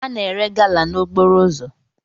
A na-ere gala n'okporo ụzọ